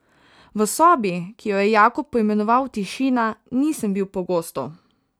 V sobi, ki jo je Jakob poimenoval Tišina, nisem bil pogosto.